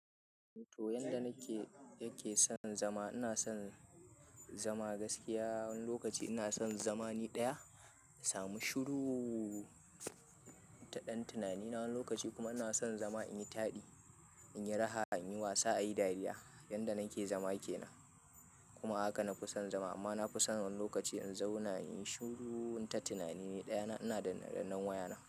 To, yanda nake, yake son zama ina son zama gaskiya wani lokaci ina son zama ni ɗaya, na samu shuru taɗan tunani na. Wani lokaci kuma ina son zama in yi taɗi, in yi raha, in yi wasa, a yi dariya yanda nake zama ke nan. Kuma haka na fi son zama amma na fi son wani lokaci in zauna, in yi shuru inta tunani ɗaya na ina ɗanne-ɗanne wayana.